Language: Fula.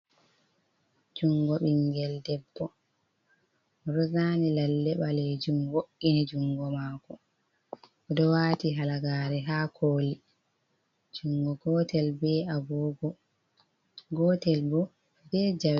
Junngo ɓinngel debbo, o ɗo zaani lalle ɓaleejum wo'ini junngo maako, o ɗo waati halagaare haa kooli, junngo gootel be agooga, gootel bo be jawe.